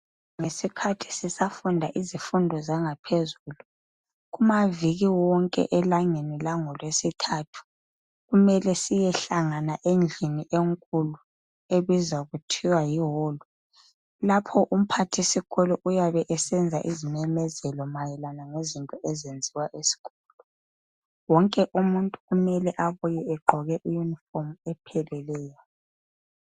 Ngesikhathi sisafunda izifundo zangaphezulu ,kumaviki wonke elangeni lango lwesithathu. Kumele siyehlangana endlini enkulu ebizwa kuthiwa Yi holu. Lapho umphathisikolo uyabe esenza izimemezelo mayelana ngezinto ezenziwa eskolo. Wonke umuntu kumele abuye egqoke iyunifomu epheleleyo.